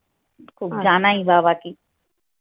খুব জানাই বাবাকে